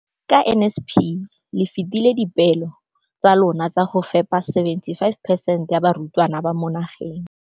Ka NSNP le fetile dipeelo tsa lona tsa go fepa 75 percent ya barutwana ba mo nageng.